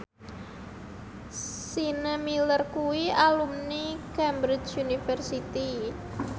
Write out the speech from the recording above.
Sienna Miller kuwi alumni Cambridge University